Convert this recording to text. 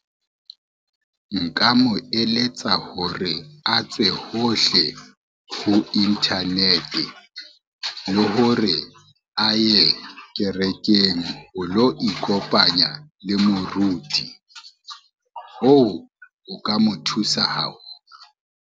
Nka mo eletsa hore a tswe hohle ho internet le hore a ye kerekeng ho lo ikopanya le moruti, hoo ho ka mo thusa haholo.